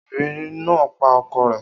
Obìnrin náà pa ọkọ rẹ̀